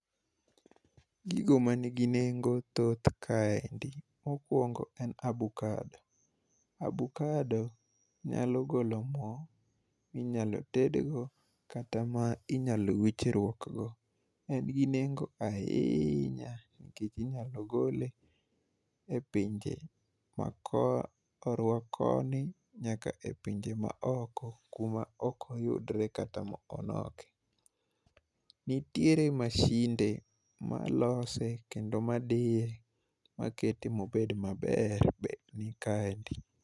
Gigo ma nigi nengo, thoth kaendi, mokwongo en abokado. Abokado nyalo golo mo ma inyalo tedgo, kata ma inyalo wichruok go. En gi nengo ahiinya, nikech inyalo gole e pinje ma korwa koni, nyaka e pinje ma oko, kuma ok oyudre, kata ma onoke. Nitiere masinde malose, kendo madiye makete ma obed maber, bende ni kaendi.